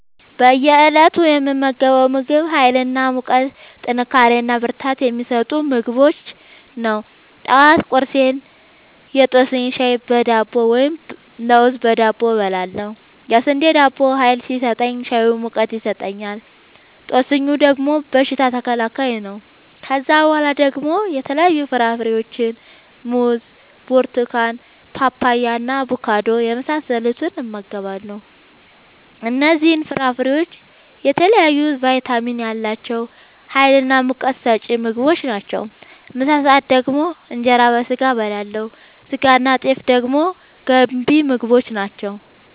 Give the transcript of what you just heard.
በእየ እለቱ የምመገበው ምግብ ሀይል እና ሙቀት ጥንካሬና ብርታት የሚሰጡ ምግቦችን ነው። ጠዋት ቁርሴን የጦስኝ ሻይ በዳቦ ወይም ለውዝ በዳቦ እበላለሁ። የስንዴ ዳቦው ሀይል ሲሰጠኝ ሻዩ ሙቀት ይሰጠኛል። ጦስኙ ደግሞ በሽታ ተከላካይ ነው። ከዛ በኋላ ደግሞ የተለያዩ ፍራፍሬዎችን(ሙዝ፣ ብርቱካን፣ ፓፓያ፣ አቦካዶ) የመሳሰሉትን እመገባለሁ እነዚህ ፍራፍሬዎች የተለያየ ቫይታሚን ያላቸው ሀይልናሙቀት ሰጪ ምግቦች ናቸው። ምሳ ሰአት ደግሞ እንጀራ በስጋ አበላለሁ ስጋናጤፍ ደግሞ ገንቢ ምግቦች ናቸው